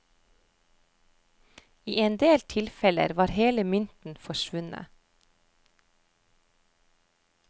I en del tilfeller var hele mynten forsvunnet.